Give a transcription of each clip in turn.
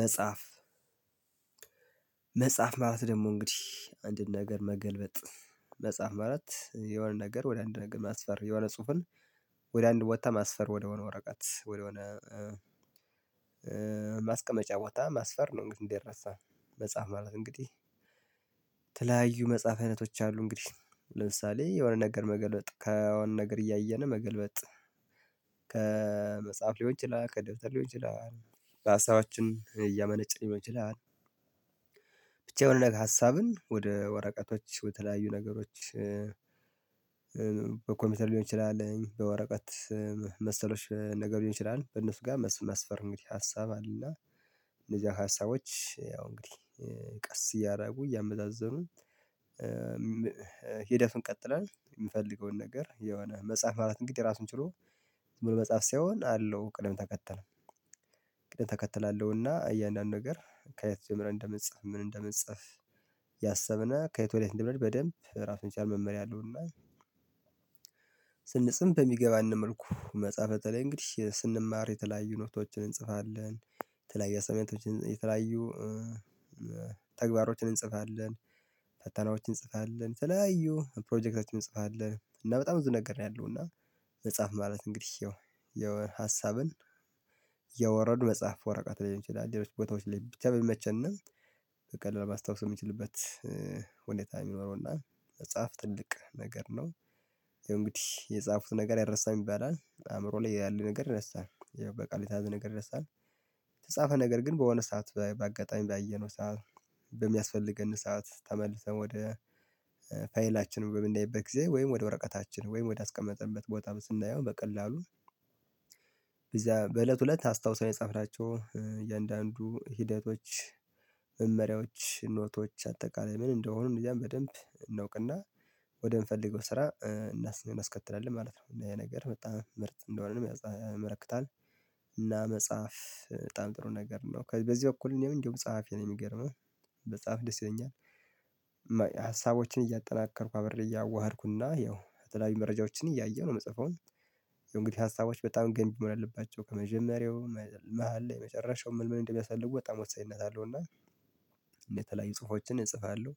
መጽሐፍ መጽሐፍ ማለት ደግሞ እንግዲህ አንድን ነገር መገልበጥ መጽሐፍ ማለት የሆነ ነገር ወደ አንድ ነገር ማስፈር የሆነ ጽሁፍን ወደ አንድ ቦጥታ ማስፈር ወደሆነ ወረቀት ወደሆነ ማስቀመጫ ቦታ ማስፈር ነው። እንግዲህ እንዳይረሳ መጽሐፍ ማለት እንግዲህ ተለያዩ መጽሐፍ አይነቶች አሉ። እንግዲህ ለምሳሌ የሆነ ነገር መገልበጥ ከሆነ ነገር እያየን መገልበጥ ከመጽሐፍ ሊሆን ይችላል ከደብተር ሊሆን ይችላል ራሳችን እያመነጭን ይመችላል። ብቻ የሆነ ነገር ሀሳብን ወደ ወረቀቶች በተለያዩ ነገሮች በኮምፒውተር ሊሆን ይችላል በወረቀት መሰሎች ነገር ሊሆን ይችላል በነፍጋ መስፈር እንግዲህ ሀሳብ አለና። እነዚህ ሀሳቦች ያው እንግዲህ ቀስ እያደረጉ እያመዛዘሙ ሄደፍን ቀጥላል። የምፈልገውን ነገር የሆነ መጽሐፍ ማራለት እንግዲህ ራሱን ችሎ መጽሐፍ ሳይሆን አለው ቅድም ተከተለ። ቅድም ተከተላል አለው እና እያንዳንዱ ነገር ከየት ጀምረን እንደምንጽፍ ምን እንደምንጽፍ ያሰብነ ከየት ወደ የት እደምንሆድ በደንብ ራሱን የቻለ መመሪያ አለው። እና ስንስም በሚገባን መልኩ መጽሐፈ በተለይ እንግዲህ ስንማር የተለያዩ ኖቶችን እንጽፋለን የተለያዩ አሳይመነቶችን የተለያዩ ተግባሮችን እንጽፋለን ፈተናዎችን እንጽፋለን ተለያዩ ፕሮጀክቶችን እንጽፋለን እና በጣም ብዙ ነገር ነው ያለው። እና መጽሐፍ ማለት እንግዲህ ያው የወ ሀሳብን እያወረዱ መጽሐፍ ወረቀት ሊሆን ይችላል ሌሎች ቦታዎች ላይ ብቻ በሚመቸነ በቀላሉ ማስታወስ እምችልበት ሁኔታ ሚኖረው እና መጽሐፍ ትልቅ ነገር ነው። ያውጨእንግዲህ የጻፉት ነገር አይረሳም ይባላል አእምሮ ላይ ያለ ነገር ይረሳል ያው በቃል የተያዝ ነገር ይረሳል። የተጻፈ ነገር ግን በሆነ ሰዓት በአጋጣሚ ባየነው ሰዓት በሚያስፈልገን ሰዓት ተመልሰን ወደ ፋይላችን በምንይበት ግዜ ወይም ወደ ወረቀታችን ወይም ወደ አስቀመጠበት ቦታ ስናየው በቀላሉ በዛ በእለቱ እለት አስታውሰን የጻፍናቸው እያንዳንዱ ሂደቶች መመሪያዎች ኖቶች አጠቃላይ ምን እንደሆኑ እነዚያን በደንብ እናወቅና ወደ ምፈለገው ስራ አናስከትላለን ማለት ነው ያ ነገር በጣም ምርት እንደሆነ ነው ያመለክታል። እና መጽሐፍ በጣም ጥሩ ነገር ነው በዚህ እኩል እኔ እንደውም ጸሐፊ ነው ሚገርመህ መጽሐፍ ደስ ይለኛል። ሀሳቦችን እያጠናከርኩ አብርዬ እያዋሀድኩና ያው የተለያዩ መረጃዎችን እያየ ነው ምጽፈው። እንግዲህ ሀሳቦች በጣም ገንቢ መሆን አለባቸው ከመጀመሪያው መሃል ላይ መጨረሻው ምንምን እንደሚያሳልፉ በጣም ወሳኝነት አለው። እና እንደተለያዩ ጽሁፎችን እጽፋለሁ።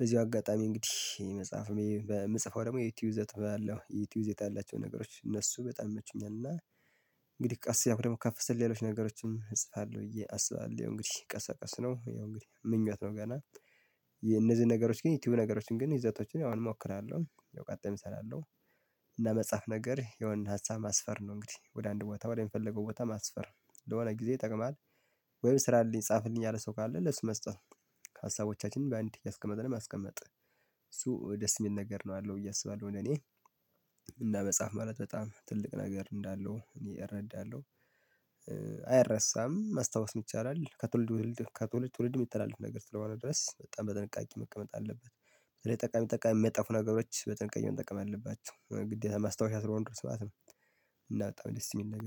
በዚሁ አጋጣሚ እንግዲህ መጽሐፍ በምጽፈው ደግሞ የዩቲዩብ ይዘት ባለው የዩቲዩብ ዜታ ያላቸው ነገሮች እነሱ በጣም ይመቹኛል። እና እንግዲህ ቀስ እያልኩ ደግሞ ከፍ ስል ሌሎች ነገሮችንም እጽፋለሁ ብዬ አስባለሁ። እንግዲህ ቀስ በቀስ ነው ያው እንግዲህ ምኞት ነው ገና ግን የነዚህ ነገሮች ግን የቲዩብ ነገሮችን ግን ይዘቶችን አሁን እሞክራለሁ ቀጣይም እሰራለሁ። እና መጽሐፍ ነገር የወንድ ሀሳብ ማስፈር ነው እንግዲህ ወደ አንድ ቦታ ወደምፈልገው ቦታ ማስፈር ለሆነ ግዜ ይጠቅማል። ወይም ስራ አለኝ ጻፍልኝ ያለ ሰው ካለ ለሱ መስጠት ከሀሳቦቻችን በአንድ እያስቀመጥን ማስቀመጥ እሱ ደስ ሚል ነገር ነው ያአለው ብዬ አስባለሁ። ለኔ እና መጽሐፍ ማለት በጣም ትልቅ ነገር እንዳለው እኔ እረዳለሁ። አይረሳም ማስታወስም ይቻላል ከትውልድ ትውልድ ከትውልድ ሚተላለፍ ነገር ስለሆነ ድረስ በጣም በጥንቃቄ መቀመጥ አለበት። ጠቃሚ ጠቃሚ ሚያጠፉ ነገሮች በጥንቃቄ መቀመጥ አለባቸው ግዴታ ማስታወሻ ስለሆኑ እስከሆኑ ድረስ ማለት ነው። እና በጣም ደስ ሚል ነገር